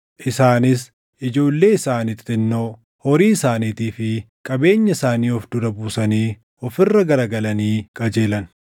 Isaanis, ijoollee isaanii xixinnoo, horii isaaniitii fi qabeenya isaanii of dura buusanii of irra garagalanii qajeelan.